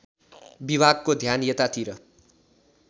विभागको ध्यान यतातिर